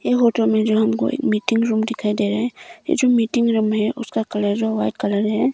इस होटल में जो हमको मीटिंग रूम दिखाई दे रहा है यह जो मीटिंग रूम है उसका कलर वाइट कलर है।